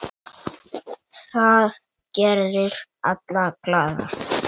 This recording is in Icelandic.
Það gerir alla glaða.